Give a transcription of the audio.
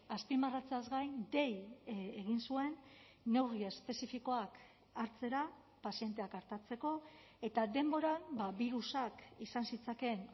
azpimarratzeaz gain dei egin zuen neurri espezifikoak hartzera pazienteak artatzeko eta denboran birusak izan zitzakeen